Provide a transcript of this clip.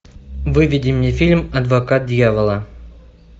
выведи мне фильм адвокат дьявола